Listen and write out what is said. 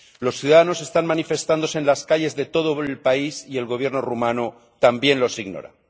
Los ciudadanos están manifestándose en las calles de todo el país y el Gobierno rumano también los ignora.